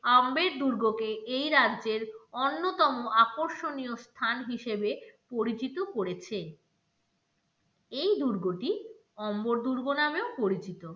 আম্বেদ দুর্গকে এই রাজ্যের অন্যতম আকর্ষণীয় স্থান হিসেবে পরিচিত করেছেন এই দুর্গটি অম্বর দুর্গ নামেও পরিচিত